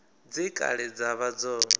dze kale dza vha dzo